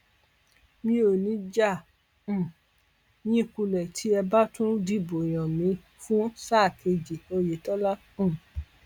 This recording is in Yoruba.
mi ò níí já um yín kulẹ tí ẹ bá tún dìbò yàn mí fún sáà kejì oyetola um